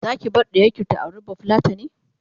Zaki bar ɗiyarki ta auri bafulatani?